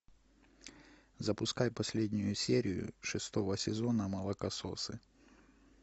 запускай последнюю серию шестого сезона молокососы